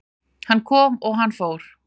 Hann kom og hann fór